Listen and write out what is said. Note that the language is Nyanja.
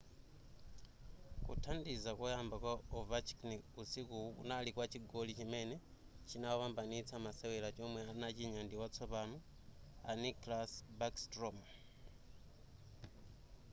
kuthandiza koyamba kwa ovechkin usikuwu kunali kwa chigoli chimene chinawapambanitsa masewera chomwe adachinya ndi watsopano a nicklas backstrom